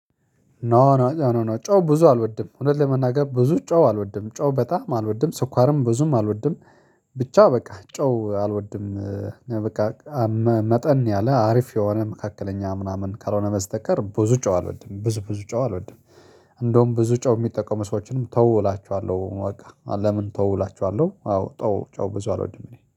ኖ ኖ ኖ ኖ ኖ ጨው ብዙ አልወድም እውነት ለመናገር ብዙ ጨው አልወድም ጨው በጣም አልወድም ሰኳርም ብዙም አልወድም። ብቻ በቃ ጨው አልወድም። በቃ። መጠን ያለ አሪፍ የሆነ መካከለኛ ምናምን ካልሆነ በስተቀር ብዙ ጨው አልወድም ብዙ ብዙ ጨው አልወድም። እንደውም ብዙ ጨው የሚጠቁሙ ሰዎችንም ተው እላችኋለሁ በቃ ለምን ተው እላችኋለሁ። አዎ ጨው ጨው ብዙ አልወድም እኔ